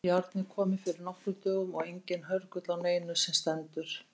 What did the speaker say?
Járnið komið fyrir nokkrum dögum og enginn hörgull á neinu sem stendur.